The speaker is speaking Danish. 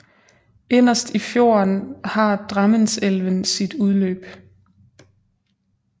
Inderst i fjorden har Drammenselven sit udløb